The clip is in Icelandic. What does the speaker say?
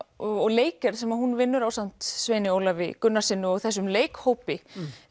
og leikgerð sem hún vinnur ásamt Sveini Ólafi Gunnarsssyni og þessum leikhópi